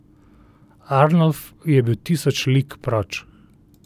Arnolf je bil tisoč lig proč.